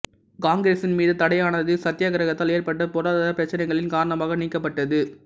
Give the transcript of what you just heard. காங்கிரஸின் மீதான தடையானது சத்யாகிரகத்தால் ஏற்பட்ட பொருளாதார பிரச்சினைகளின் காரணமாக நீக்கப்பட்டது